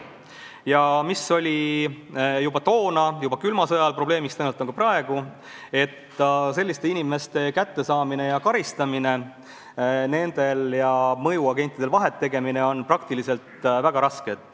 Ja juba toona, külma sõja ajal oli probleemiks ning tõenäoliselt on ka praegu, et selliste inimeste avastamine ja karistamine, nendel ja mõjuagentidel vahet tegemine on praktiliselt väga raske.